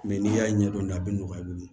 Mɛ n'i y'a ɲɛdɔn a bɛ nɔgɔya i bolo